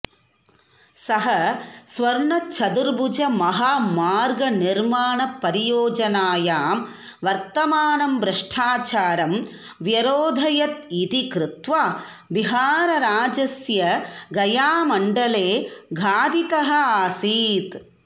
सः स्वर्णचतुर्भुजमहामार्गनिर्माणपरियोजनायां वर्तमानं भ्रष्टाचारं व्यरोधयत् इति कृत्वा बिहारराज्यस्य गयामण्डले घातितः आसीत्